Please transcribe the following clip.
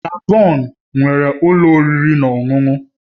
Gabon nwere ụlọ oriri na ọṅụṅụ